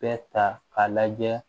Bɛɛ ta k'a lajɛ